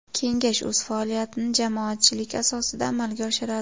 Kengash o‘z faoliyatini jamoatchilik asosida amalga oshiradi.